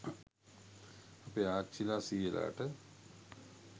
අපේ ආච්චිලා සීයලාට